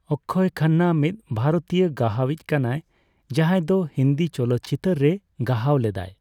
ᱚᱠᱠᱷᱚᱭ ᱠᱷᱟᱱᱱᱟ ᱢᱤᱫ ᱵᱷᱟᱨᱛᱤᱭᱚ ᱜᱟᱦᱟᱣᱤᱪ ᱠᱟᱱᱟᱭ ᱡᱟᱦᱟᱸᱭ ᱫᱚ ᱦᱤᱱᱫᱤ ᱪᱚᱞᱚᱛ ᱪᱤᱛᱟᱹᱨ ᱨᱮ ᱜᱟᱦᱟᱣ ᱞᱮᱫᱟᱭ᱾